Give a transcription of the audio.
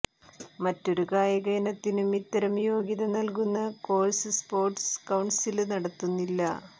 മറ്റൊരു കായിക ഇനത്തിനും ഇത്തരം യോഗ്യത നല്കുന്ന കോഴ്സ് സ്പോട്സ് കൌണ്സില് നടത്തുന്നില്ല